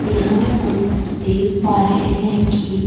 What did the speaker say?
यहां हम देख पा रहे हैं कि--